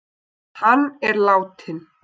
Hann er látinn.